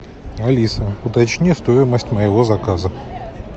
алиса уточни стоимость моего заказа